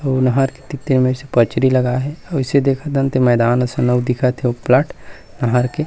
अउ नाहर के तीर-तीर मे अइसे पचरी लगा हे अउ अइसे देखत हन ते मैदान असन अउ दिखत हे ओ पलाट नहर के--